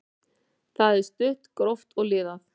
Það er stutt, gróft og liðað.